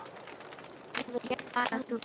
Nú vil ég bara að þú birtist.